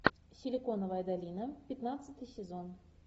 силиконовая долина пятнадцатый сезон